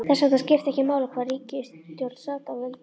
Þess vegna skipti ekki máli hvaða ríkisstjórn sat að völdum.